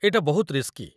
ଏଇଟା ବହୁତ ରିସ୍କି।